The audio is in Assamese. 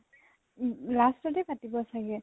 উম last তে পাতিব চাগে।